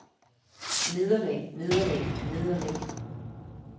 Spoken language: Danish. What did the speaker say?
nederlag nederlag nederlag